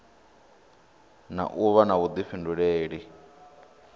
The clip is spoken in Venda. na u vha na vhuḓifhinduleli